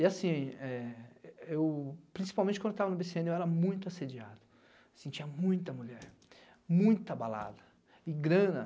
E assim, eh eu principalmente quando estava no bê cê ene eu era muito assediado, sentia muita mulher, muita balada e grana.